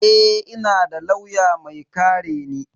Eh, ina da lauya mai kare ni.